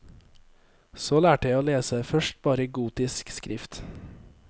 Så lærte jeg å lese, først bare gotisk skrift.